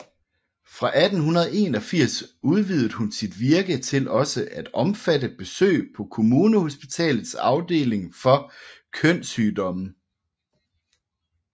Fra 1881 udvidede hun sit virke til også at omfatte besøg på Kommunehospitalets afdeling for kønssygdomme